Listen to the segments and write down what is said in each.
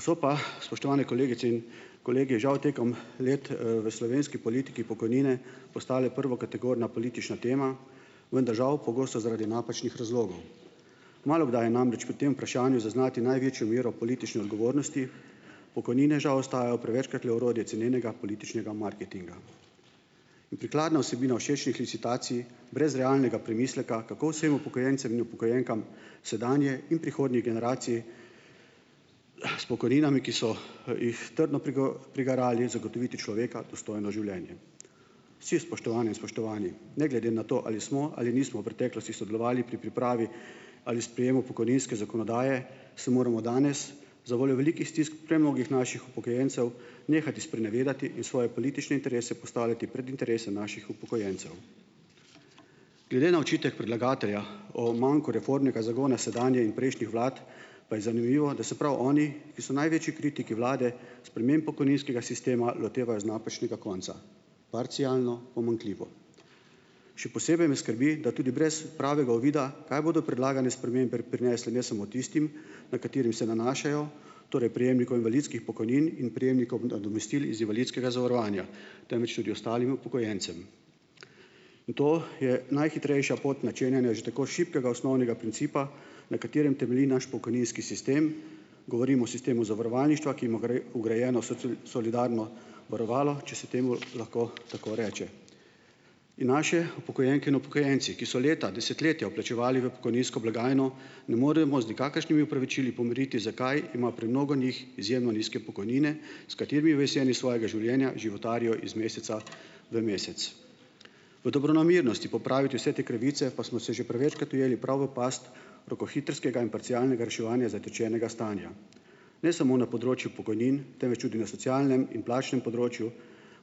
So pa, spoštovane kolegice in kolegi, žal, tekom let, v slovenski politiki pokojnine postale prvokategorna politična tema, vendar, žal, pogosto zaradi napačnih razlogov. Malokdaj je namreč pri tem vprašanju zaznati največjo mero politične odgovornosti, pokojnine, žal, ostajajo prevečkrat le orodje cenenega političnega marketinga. In prikladna vsebina všečnih licitacij, brez realnega premisleka, kako vsem upokojencem in upokojenkam sedanje in prihodnjih generacij, s pokojninami, ki so jih trdo prigarali, zagotoviti človeka dostojno življenje. Vsi, spoštovane in spoštovani, ne glede na to, ali smo ali nismo v preteklosti sodelovali pri pripravi ali sprejemu pokojninske zakonodaje, se moramo danes zavoljo velikih stisk premnogih naših upokojencev nehati sprenevedati in svoje politične interese postavljati pred interese naših upokojencev. Glede na očitek predlagatelja o manku reformnega zagona sedanje in prejšnjih vlad pa je zanimivo, da se prav oni, ki so največji kritiki vlade, sprememb pokojninskega sistema lotevajo z napačnega konca, parcialno, pomanjkljivo. Še posebej me skrbi, da tudi brez pravega uvida, kaj bodo predlagane spremembe prinesle ne samo tistim, na katere se nanašajo, torej prejemnikom invalidskih pokojnin in prejemnikom nadomestil iz invalidskega zavarovanja, temveč tudi ostalim upokojencem. To je najhitrejša pot načenjanja že tako šibkega osnovnega principa, na katerem temelji naš pokojninski sistem, govorim o sistemu zavarovalništva, ki ima vgrajeno solidarno varovalo, če se temu lahko tako reče. In naše upokojenke in upokojenci, ki so leta, desetletja vplačevali v pokojninsko blagajno, ne moremo z nikakršnimi opravičili pomiriti, zakaj ima premnogo njih izjemno nizke pokojnine, s katerimi v jeseni svojega življenja životarijo iz meseca v mesec. V dobronamernosti popraviti vse te krivice pa smo se že prevečkrat ujeli prav v past rokohitrskega in parcialnega reševanja zatečenega stanja. Ne samo na področju pokojnin, temveč tudi na socialnem in plačnem področju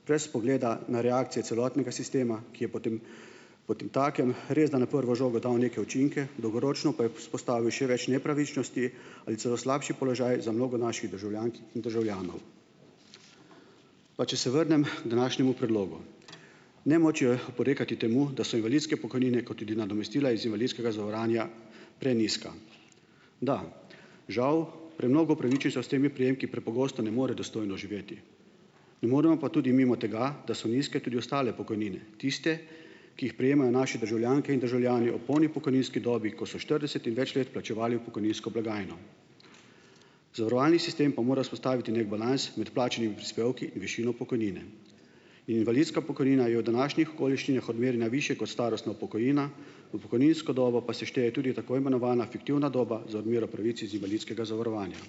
brez pogleda na reakcije celotnega sistema, ki je potem potemtakem resda na prvo žogo dal neke učinke, dolgoročno pa je vzpostavil še več nepravičnosti ali celo slabši položaj za mnogo naših državljank in državljanov. Pa če se vrnem k današnjemu predlogu. Nemoč je oporekati temu, da so invalidske pokojnine, kot tudi nadomestila iz invalidskega zavarovanja, prenizka. Da, žal premnogo upravičencev s temi prejemki prepogosto ne more dostojno živeti. Ne moremo pa tudi mimo tega, da so nizke tudi ostale pokojnine, tiste, ki jih prejemajo naše državljanke in državljani ob polni pokojninski dobi, ko so štirideset in več let plačevali v pokojninsko blagajno. Zavarovalni sistem pa mora vzpostaviti neki balans med plačnimi prispevki in višino pokojnine. Invalidska pokojnina je v današnjih okoliščinah odmerjena višje kot starostna pokojnina, v pokojninsko dobo pa se šteje tudi tako imenovana fiktivna doba za odmero pravic iz invalidskega zavarovanja.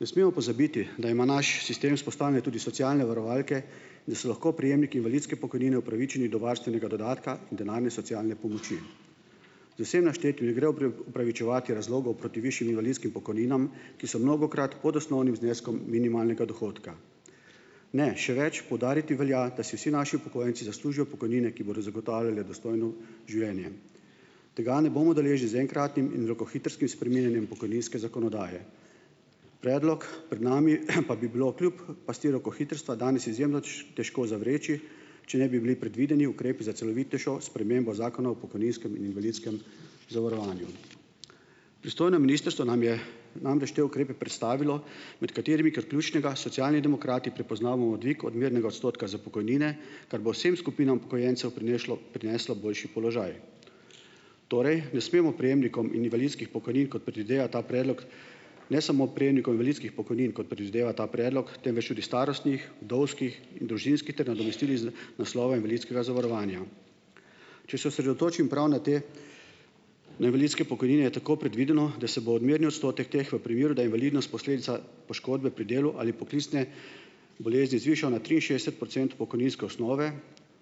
Ne smemo pozabiti, da ima naš sistem vzpostavljene tudi socialne varovalke, da so lahko prejemniki invalidske pokojnine upravičeni do varstvenega dodatka denarne socialne pomoči. Vsem naštetim ne gre opravičevati razlogov proti višjim invalidskim pokojninam, ki so mnogokrat pod osnovnim zneskom minimalnega dohodka. Ne, še več, poudariti velja, da si vsi naši upokojenci zaslužijo pokojnine, ki bodo zagotavljale dostojno življenje. Tega ne bomo deležni z enkratnim in rokohitrskim spreminjanjem pokojninske zakonodaje. Predlog pred nami, pa bi bilo kljub pasti rokohitrstva danes izjemno težko zavreči, če ne bi bili predvideni ukrepi za celovitejšo spremembo Zakona o pokojninskem in invalidskem zavarovanju. Pristojno ministrstvo nam je namreč te ukrepe predstavilo, med katerimi kot ključnega Socialni demokrati prepoznavamo dvig odmernega odstotka za pokojnine, kar bo vsem skupinam upokojencev prinešlo, prineslo boljši položaj. Torej ne smemo prejemnikom invalidskih pokojnin, kot predvideva ta predlog, ne samo prejemnikom invalidskih pokojnin, ko predvideva ta predlog, temveč tudi starostnih, vdovskih in družinskih ter nadomestil iz naslova invalidskega zavarovanja. Če se osredotočim prav na te invalidske pokojnine, je tako predvideno, da se bo odmerni odstotek teh v primeru, da je invalidnost posledica poškodbe pri delu ali poklicne bolezni, zvišal na triinšestdeset procentov pokojninske osnove,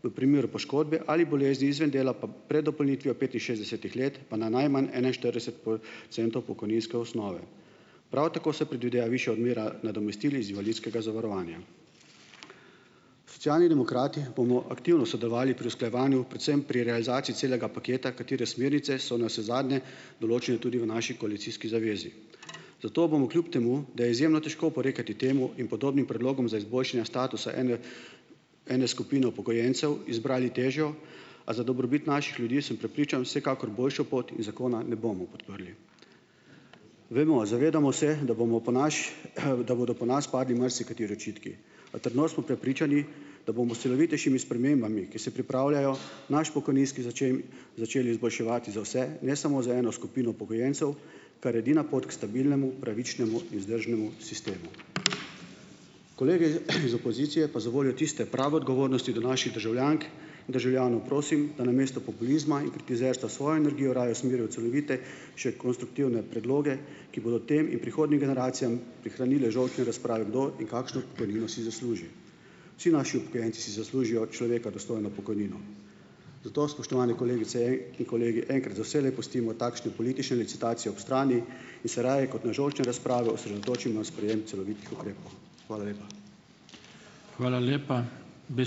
v primeru poškodbe ali bolezni izven dela pa pred dopolnitvijo petinšestdesetih let pa na najmanj enainštirideset procentov pokojninske osnove. Prav tako se predvideva višja odmera nadomestil iz invalidskega zavarovanja. Socialni demokrati bomo aktivno sodelovali pri usklajevanju, predvsem pri realizaciji celega paketa, katere smernice so navsezadnje določene tudi v naši koalicijski zavezi, zato bomo kljub temu, da je izjemno težko oporekati temu in podobnim predlogom za izboljšanje statusa enega, ene skupine upokojencev, izbrali težjo, a za dobrobit naših ljudi, sem prepričan, vsekakor boljšo pot, in zakona ne bomo podprli. Vemo, zavedamo se, da bomo po naš, da bodo po nas padli marsikateri očitki, a trdno smo prepričani, da bomo s celovitejšimi spremembami, ki se pripravljajo, naš pokojninski začeli izboljševati za vse, ne samo za eno skupino upokojencev, kar je edina pot k stabilnemu, pravičnemu in vzdržnemu sistemu. Kolegi, iz opozicije pa zavoljo tiste prave odgovornosti do naših državljank in državljanov prosim, da namesto populizma in kritizerstva svoje energije raje usmerijo v celovitejše konstruktivne predloge, ki bodo tem in prihodnjim generacijam prihranile žolčne razprave, kdo in kakšno pokojnino si zasluži. Vsi naši upokojenci si zaslužijo človeka dostojno pokojnino, zato, spoštovane kolegice in kolegi, enkrat za vselej pustimo takšne politične licitacije ob strani in se raje kot na žolčne razprave osredotočimo na sprejem celovitih ukrepov. Hvala lepa.